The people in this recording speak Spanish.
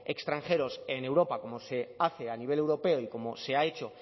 extranjeros en europa como se hace a nivel europeo y como se ha hecho